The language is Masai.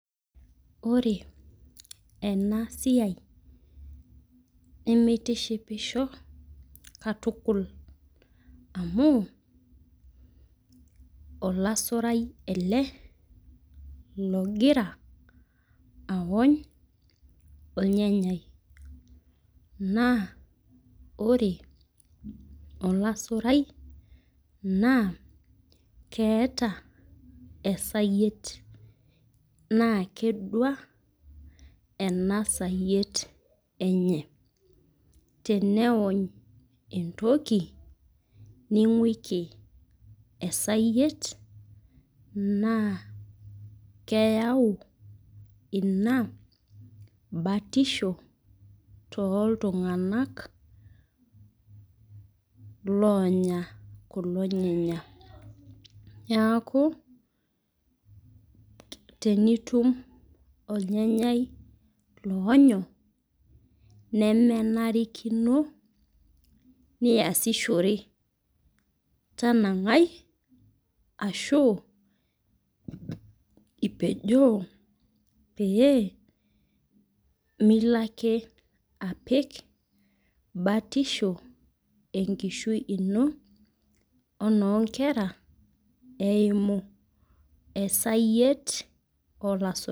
Ore enasiai nemeitishipisho, katukul. Amu, olasurai ele, logira aony ornyanyai. Naa ore olasurai, naa keeta esayiet. Naa kedua enasayiet enye. Teneony entoki, ning'uiki esayiet naa keyau ina batisho toltung'anak loonya kulo nyanya. Neeku, tenitum ornyanyai loonyo, nemenarikino niasishore. Tanang'ai, ashu ipejoo pee milo ake apik batisho enkishui ino, onoonkera eimu esayiet olasurai.